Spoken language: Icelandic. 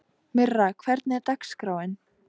Myrra, hvernig er dagskráin?